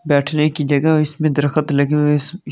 बैठने की जगह इसमें द्र्खत लगी हुए ईस --